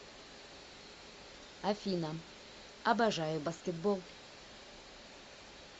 афина обожаю баскетбол